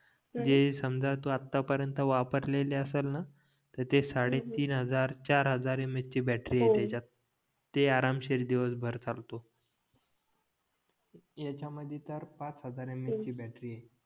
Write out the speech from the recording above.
जे समजा तू आता पर्यंत वापरलेली असेल ना तर ते सडे तीन हजार चार हजार यमयच बॅटरी आहे त्याच्यात ते चालतो ह्याच्या मधी तर फाच हजार यमयच ची बॅटरी आहे